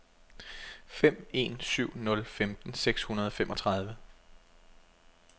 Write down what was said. fem en syv nul femten seks hundrede og femogtredive